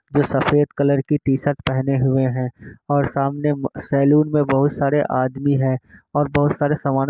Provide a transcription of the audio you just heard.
जो सफ़ेद कलर की टी शर्ट पहने हुए है। और सामने सेलून मैं बहोत सारे आदमी है और बहोत सारे सामान--